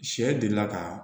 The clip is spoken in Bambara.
Sɛ delila ka